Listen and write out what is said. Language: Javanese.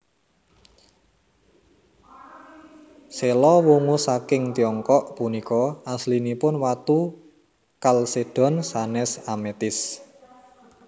Séla wungu saking tiongkok punika aslinipun watu kalsédon sanès ametis